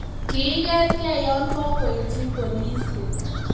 kiigetgei yo kokuityi polisiek